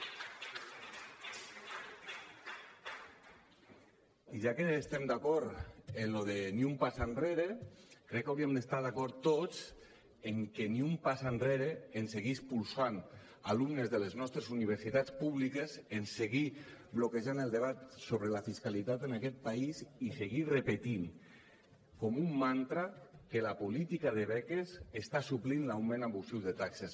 i ja que estem d’acord amb allò de ni un pas enrere crec que hauríem d’estar d’acord tots amb que ni un pas enrere en seguir expulsant alumnes de les nostres universitats públiques en seguir bloquejant el debat sobre la fiscalitat en aquest país i seguir repetint com un mantra que la política de beques està suplint l’augment abusiu de taxes